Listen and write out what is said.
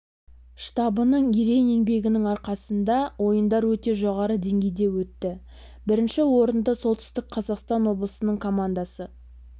штабының ерен еңбегінің арқасында ойындар өте жоғары деңгейде өтті бірінші орынды солтүстік қазақстан облысының командасы